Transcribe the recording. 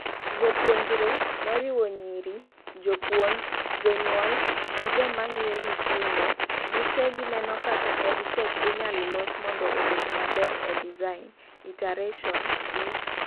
jopuonjre, moriwo nyiri, jopuonj, jonyuol gi jomangiyo nyithindo , gite gineno kak EdTech inyalos mondo obed maber e design , iteration, gi